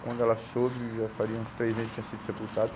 Quando ela soube, já faria uns três meses que tinha sido sepultado.